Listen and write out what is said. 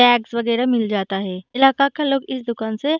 bags वगेरा मिल जाता है इलाका का लोग इस दुकान से --